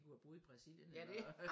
De kunne have boet i Brasilien eller